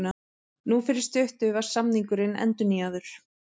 Nú fyrir stuttu var samningurinn endurnýjaður.